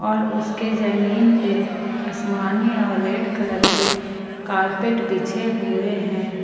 और उसके जमीन पे आसमानी और रेड कलर की कारपेट बिछे हुए हैं।